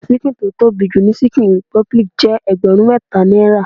Ṣíkìn tó tóbi jù ní chicken republic jẹ́ ẹgbẹrun mẹta náírà.